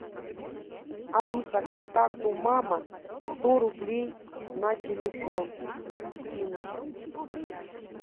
алиса контакту мама сто рублей на телефон скинуть